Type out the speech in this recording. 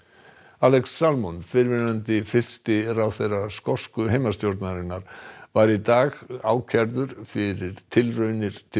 Alex fyrrverandi fyrsti ráðherra skosku heimastjórnarinnar var í dag ákærður fyrir tilraunir til